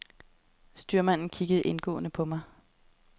Styrmanden kiggede indgående på mig.